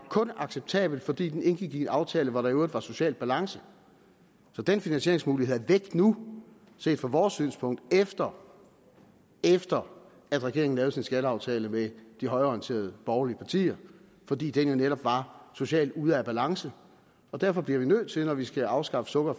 acceptabel fordi den indgik i en aftale hvor der i øvrigt var social balance så den finansieringsmulighed er væk nu set fra vores synspunkt efter efter at regeringen lavede sin skatteaftale med de højreorienterede borgerlige partier fordi den netop var socialt ude af balance og derfor bliver det nødt til når vi skal afskaffe sukker og